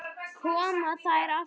Koma þær aftur?